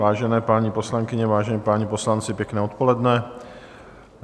Vážené paní poslankyně, vážení páni poslanci, pěkné odpoledne.